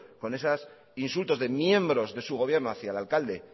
con esos insultos de miembros de su gobierno hacia el alcalde